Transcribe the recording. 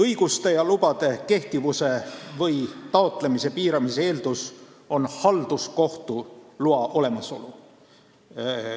Õiguste ja lubade kehtivuse või taotlemise piiramise eeldus on halduskohtu loa olemasolu.